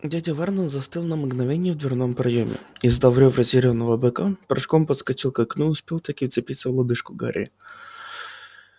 дядя вернон застыл на мгновение в дверном проёме издав рёв разъярённого быка прыжком подскочил к окну и успел-таки вцепиться в лодыжку гарри